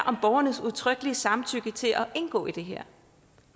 om borgernes udtrykkelige samtykke til at indgå i det her